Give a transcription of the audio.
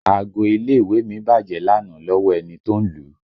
Aago ilé ìwé mi bájẹ̀ lánàá lọ́wọ́ ẹni tó ń lù ú